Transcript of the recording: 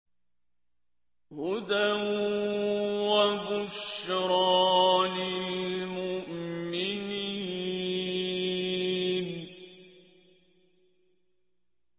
هُدًى وَبُشْرَىٰ لِلْمُؤْمِنِينَ